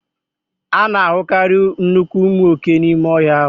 A na-ahụkarị nnukwu ụmụ oke n'ime ọhịa ahụ